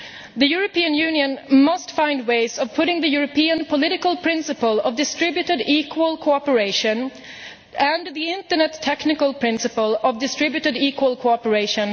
The European Union must find ways of combining successfully the European political principal of distributed, equal cooperation with the Internet technical principle of distributed, equal cooperation.